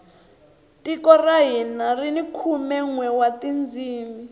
tiko ra hina rini khume nwe wa tindzimi